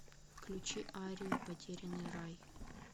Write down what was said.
включи арию потерянный рай